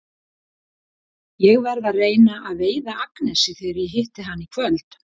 Ég verð að reyna að veiða Agnesi þegar ég hitti hana í kvöld.